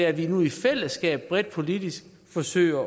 at vi nu i fællesskab bredt politisk forsøger